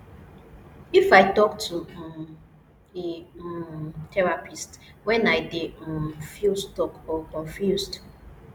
If I talk to um a um therapist when i dey um feel stuck or confused